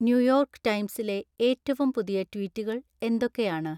New York ടൈംസിലെ ഏറ്റവും പുതിയ ട്വീറ്റുകൾ എന്തൊക്കെയാണ്